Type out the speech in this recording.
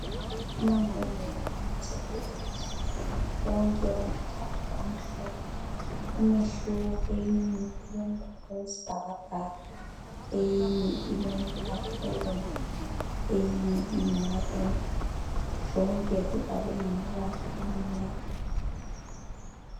Amambodlela ama tablet wonke womathathu amhlophe umehluko eyinye ilombala we sibhakabhaka, eyinye ilombala obomvu, eyinye iyi maruni zonke zibhalwe ngamabala amnyama.